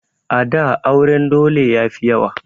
A da auren dole yafi yawa